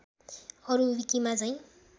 अरु विकिमा झैं